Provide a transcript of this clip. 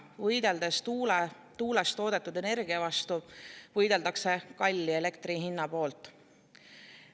Võideldes tuulest toodetud energia vastu, võideldakse kalli elektri hinna poolt.